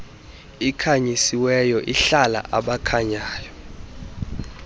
ikhanyisiweyo ihlala abakhanyayo